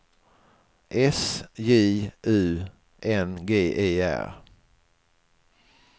S J U N G E R